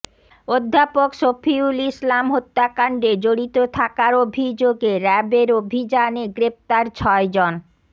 অধ্যাপক শফিউল ইসলাম হত্যাকাণ্ডে জড়িত থাকার অভিযোগে র্যাবের অভিযানে গ্রেপ্তার ছয়জন